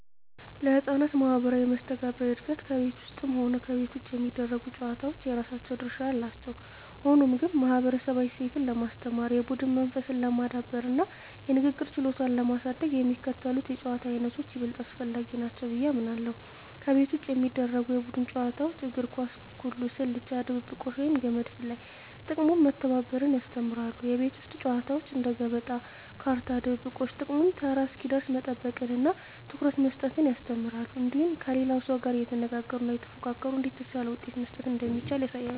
ለሕፃናት ማኅበራዊ መስተጋብር እድገት ከቤት ውስጥም ሆነ ከቤት ውጭ የሚደረጉ ጨዋታዎች የራሳቸው ድርሻ አላቸው። ሆኖም ግን፣ ማኅበረሰባዊ እሴትን ለማስተማር፣ የቡድን መንፈስን ለማዳበርና የንግግር ችሎታን ለማሳደግ የሚከተሉት የጨዋታ ዓይነቶች ይበልጥ አስፈላጊ ናቸው ብዬ አምናለሁ፦ ከቤት ውጭ የሚደረጉ የቡድን ጨዋታዎች እግር ኳስ፣ ኩኩሉ፣ ስልቻ ድብብቆሽ፣ ወይም ገመድ ዝላይ። ጥቅሙም መተባበርን ያስተምራሉ። የቤት ውስጥ ጨዋታዎች እንደ ገበጣ፣ ካርታ፣ ድብብቆሽ… ጥቅሙም ተራ እስኪደርስ መጠበቅንና ትኩረት መስጠትን ያስተምራሉ። እንዲሁም ከሌላው ሰው ጋር እየተነጋገሩና እየተፎካከሩ እንዴት የተሻለ ውሳኔ መስጠት እንደሚቻል ያሳያሉ።